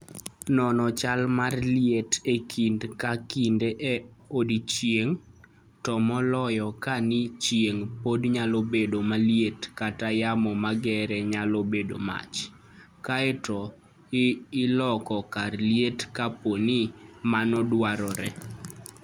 Non chal mar liet e kinde ka kinde e odiechieng', to moloyo kapo ni chieng' pod nyalo bedo maliet kata yamo mager nyalo bedo mach, kae to ilok kar liet kapo ni mano dwarore.